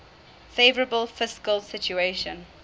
favourable fiscal situation